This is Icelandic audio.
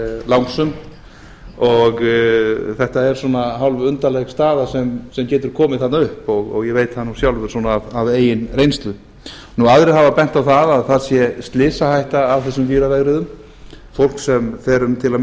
langsum og þetta er svona hálfundarleg staða sem getur komið þarna upp ég veit það nú sjálfur af eigin reynslu aðrir hafa bent á það að það sé slysahætta af þessu víravegriðum fólk sem fer um til að